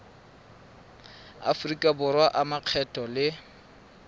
aforika borwa a makgetho le